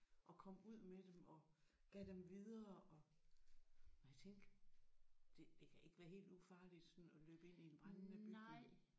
Og kom ud med dem og gav dem videre og nej tænk det det kan ikke være helt ufarligt sådan at løbe ind i en brændende bygning